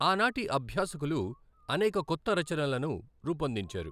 ఆనాటి అభ్యాసకులు అనేక కొత్త రచనలను రూపొందించారు.